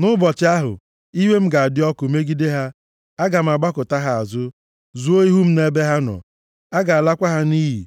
Nʼụbọchị ahụ, iwe m ga-adị ọkụ megide ha, aga m agbakụta ha azụ, zoo ihu m nʼebe ha nọ. A ga-alakwa ha nʼiyi.